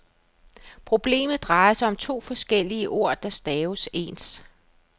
Problemet drejer sig om to forskellige ord, der staves ens.